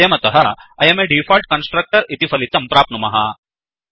वयं अतः I अं a डिफॉल्ट् कन्स्ट्रक्टर इति फलितं प्राप्नुमः